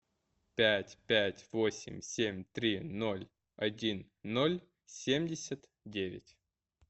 пять пять восемь семь три ноль один ноль семьдесят девять